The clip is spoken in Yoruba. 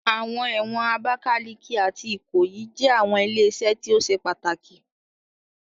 Awọn ẹwọn Abakaliki ati Ikoyi jẹ awọn ile-iṣẹ ti o ṣe pataki